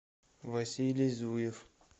василий зуев